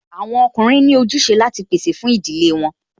Àwọn ọkùnrin ní ojúse láti pèsè fún ìdílé wọn